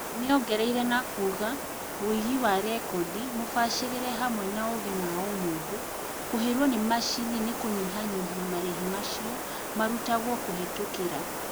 Nĩongereire nakuga "woigi wa rekondi mũbacĩrĩre hamwe na ũgĩ ma ũmũndũ kũhĩrwo nĩ macini nĩkũnyihanyihia marĩhi macio marutagwo kũhetũkĩra